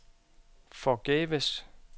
forgæves